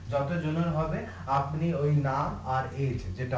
যতো জনের হবে আপনি ঐ নাম আর